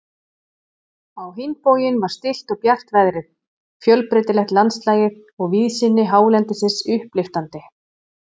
Á hinn bóginn var stillt og bjart veðrið, fjölbreytilegt landslagið og víðsýni hálendisins upplyftandi.